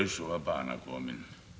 og að bana kominn